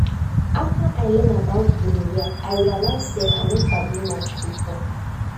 after i learn about gonorrhea i realize say i no sabi much before